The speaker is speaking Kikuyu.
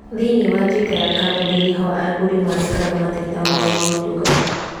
Thĩiniĩ wa tuita ya kambuni nĩ ho agũri mandĩkaga mateta mao ma ũtungata